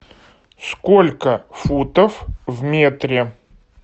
сколько футов в метре